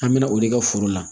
An bɛ na o de ka foro la